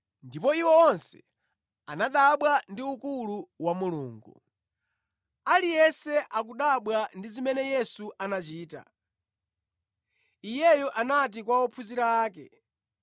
Ndipo iwo onse anadabwa ndi ukulu wa Mulungu. Yesu Abwereza Kunena za Imfa yake Aliyense akudabwa ndi zimene Yesu anachita, Iyeyo anati kwa ophunzira ake,